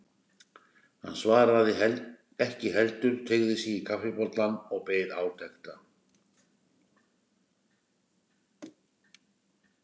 Hann svaraði ekki heldur teygði sig í kaffibollann og beið átekta.